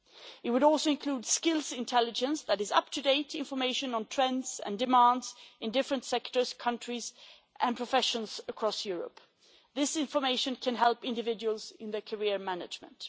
It would also include skills intelligence, which is up-to-date information on trends and demands in different sectors, countries and professions across Europe. This information can help individuals in their career management.